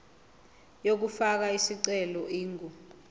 yokufaka isicelo ingu